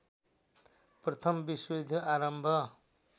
प्रथम विश्वयुद्ध आरम्भ